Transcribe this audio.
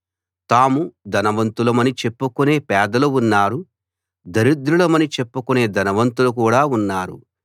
తాము ధనవంతులమని చెప్పుకునే పేదలు ఉన్నారు దరిద్రులమని చెప్పుకునే ధనవంతులు కూడా ఉన్నారు